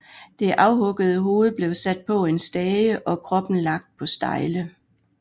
Det afhuggede hoved blev sat på en stage og kroppen lagt på stejle